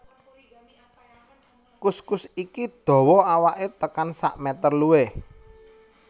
Kuskus iki dawa awaké tekan sakmétér luwih